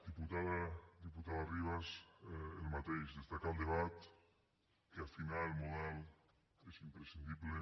diputada ribas el mateix destacar el debat que afinar el model és imprescindible